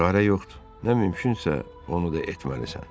Çarə yoxdur, nə mümkünsə, onu da etməlisən.